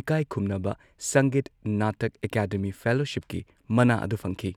ꯏꯀꯥꯏꯈꯨꯝꯅꯕ Sangeet Natak Academy ꯐꯦꯂꯣꯁꯤꯞꯀꯤ ꯃꯅꯥ ꯑꯗꯨ ꯐꯪꯈꯤ꯫